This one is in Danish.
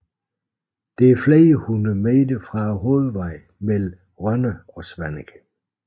Det er flere hundrede meter fra hovedvejen mellem Rønne og Svaneke